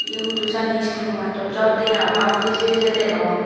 ebay hudujani iskulo matot jor dey papang bijey bijey degong.